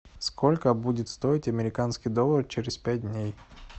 сколько будет стоить американский доллар через пять дней